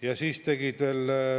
lahendus.